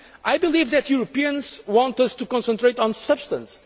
I believe that Europeans want us to concentrate on substance.